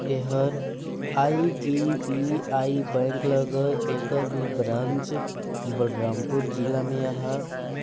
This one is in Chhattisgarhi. ऐ हर आई.डी.बी.आई. बैंक लगय एकर भी ब्रांच बलरामपुर जिला में आहा--